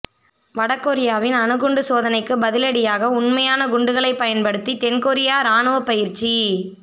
வட கொரியாவின் அணு குண்டு சோதனைக்கு பதிலடியாக உண்மையான குண்டுகளை பயன்படுத்தி தென் கொரியா ராணுவ பயிற்சி